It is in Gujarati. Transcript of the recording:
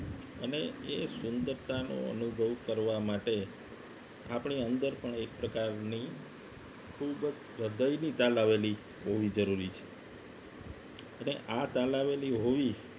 અને એ સુંદરતાનો અનુભવ કરવા માટે આપણી અંદર પણ એક પ્રકારની ખૂબ જ હૃદયની તાલાવેલી હોવી જરૂરી છે અને તાલાવેલી હોવી